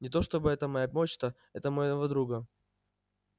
не то чтобы это моя почта это моего друга